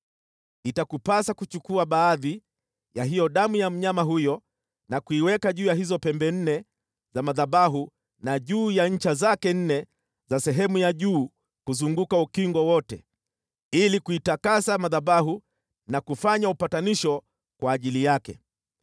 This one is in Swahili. Itakupasa kuchukua baadhi ya hiyo damu ya mnyama huyo na kuiweka juu ya hizo pembe nne za madhabahu na juu ya ncha zake nne za sehemu ya juu kuzunguka ukingo wote, ili kuitakasa madhabahu na kufanya upatanisho kwa ajili yake.